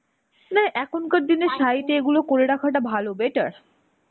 না, এখনকার দিনে side এ এগুলো করে রাখাটা ভালো. better.